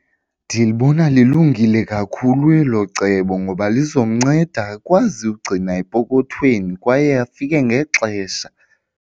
Ndilibona lilungile kakhulu elo cebo ngoba lizomnceda akwazi ukugcina epokothweni kwaye afike ngexesha.